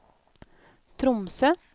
Tromsø